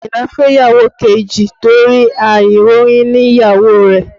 Àyìnlá fẹ́ ìyàwó kejì torí àìróyúnní ìyàwó rẹ̀